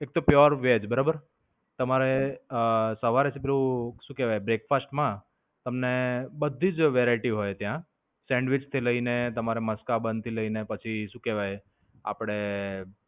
એક તો pure veg બરાબર. તમારે અમ સવારે સીધું શું કેવાય breakfast માં તમને બધી જ variety હોય ત્યાં sandwich થી લઈને તમારા Maskaban થી લઈને પછી શું કેવાય આપણે